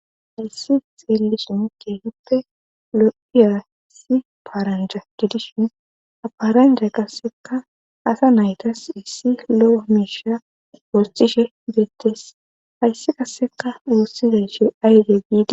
hayssi xeelison keehuppe lo7iya si paranjay didishin aparanja qasseka asa naytas issi lo7o miisha wostishe beettes hayssi qasseka awussidayshe ayde giidi